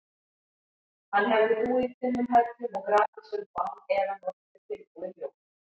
Hann hefði búið í dimmum hellum og grafhýsum og án efa notast við tilbúið ljós.